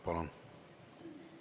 Palun!